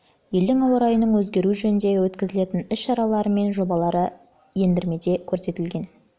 елдің ауа райының өзгеруі жөніндегі өткізілетін іс-шаралары мен жобалары ендірмеде көрсетілген